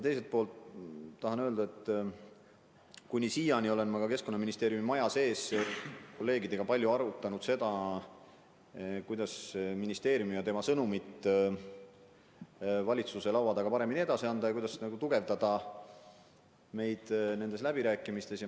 Teiselt poolt tahan kinnitada, et kuni siiani olen ma Keskkonnaministeeriumi majas kolleegidega palju arutanud seda, kuidas ministeeriumi sõnumit valitsuse laua taga paremini edasi anda ja kuidas tugevdada meie positsiooni nendes läbirääkimistes.